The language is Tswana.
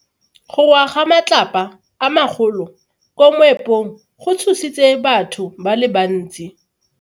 Go wa ga matlapa a magolo ko moepong go tshositse batho ba le bantsi.